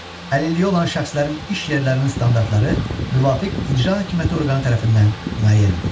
Əlilliyi olan şəxslərin iş yerlərinin standartları müvafiq icra hakimiyyəti orqanı tərəfindən müəyyən edilir.